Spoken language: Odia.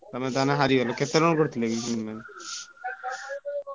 ତମେ ତାହେଲେ ହାରିଗଲା କେତେ run କରିଥିଲ କି ତମେ?